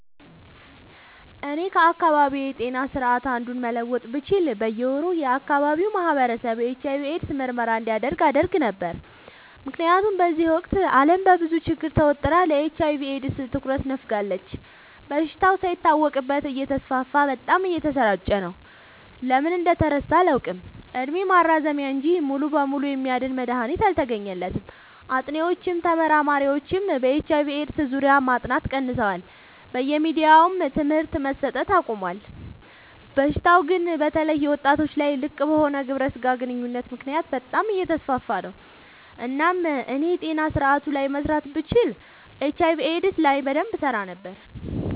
እኔ ከአካባቢዬ ጤና ስርዓት አንዱን መለወጥ ብችል በየ ወሩ የአካባቢው ማህበረሰብ የኤች/አይ/ቪ ኤድስ ምርመራ እንዲያደርግ አደረግ ነበር። ምክንያቱም በዚህ ወቅት አለም በብዙ ችግር ተወጥራ ለኤች/አይ/ቪ ኤድስ ትኩረት ነፋጋለች። በሽታው ሳይታወቅበት እተስፋፋ በጣም እየተሰራጨ ነው። ለምን እንደተረሳ አላውቅ እድሜ ማራዘሚያ እንጂ ሙሉ በሙሉ የሚያድን መድሀኒት አልተገኘለትም ጥኒዎችም ተመራማሪዎችም በኤች/አይ/ቪ ኤድስ ዙሪያ ማጥናት ቀንሰዋል በየሚዲያውም ትምህርት መሰት አቆሞል። በሽታው ግን በተለይ ወጣቶች ላይ ልቅበሆነ ግብረ ስጋ ግንኙነት ምክንያት በጣም አየተስፋፋ ነው። እናም እኔ የጤና ስረአቱ ላይ መስራት ብችል ኤች/አይ/ቪ ኤድስ ላይ በደንብ እሰራ ነበር።